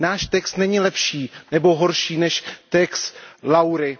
Náš text není lepší nebo horší než text Laury.